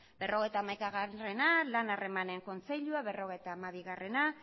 berrogeita hamaikaa lan harremanen kontseilua berrogeita hamabia